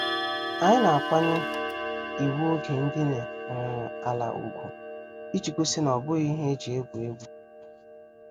Anyị na-akwanye iwu oge ndine um ala ugwu, iji gosi na obughi ihe eji egwu egwu.